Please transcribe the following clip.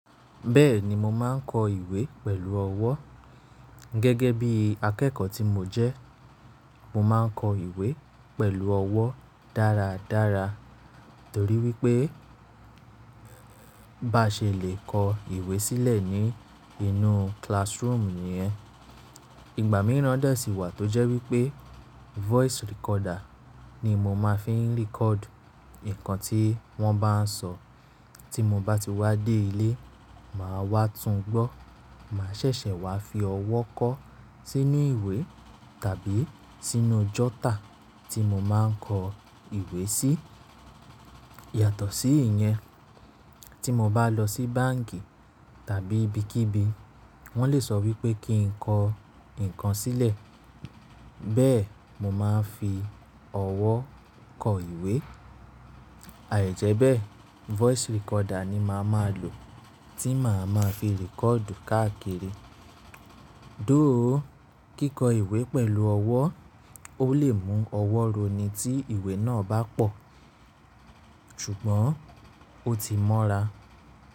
Bẹ́ẹ̀ni mo máa ń kọ ìwé pẹ̀lú ọwọ́. Gẹ́gẹ́ bí akẹ́kọ̀ọ́ tí mo jẹ́, mo máa ń kọ ìwé pẹ̀lú ọwọ́ dáradára torí wípé bá ṣe lè kọ ìwé sílẹ̀ ní inú classroom nìyẹn. Ìgbà mìíràn de sí wà tó jẹ́ wípé voice recorder ni mo máa fi ń record nǹkan tí wón bá ń sọ. Tí mo bá ti wá dé ilé, màá wá tún gbọ́, màá ṣẹ̀ṣẹ̀ wá fi ọwọ́ kọ sí ní ìwé tàbí sínú jotter tí mo máa ń kọ ìwé sí. Yàtọ̀ sí ìyẹn, tí mo bá lọ sí báǹkì tàbí ibikíbi, wón lè sọ wípé kí n kọ nǹkan sílẹ̀, bẹ́ẹ̀ mo máa ń fi ọwọ́ kọ ìwé. Àìjẹ́bẹ́ voice recorder ni màá máa lò tí màá máa fi record káàkiri. Though, kíkọ ìwé pẹ̀lú ọwọ́ ó lè mú ọwọ́ ro ni tí ìwé náà bá pọ̀, ṣùgbọ́n ó ti mọ́ra.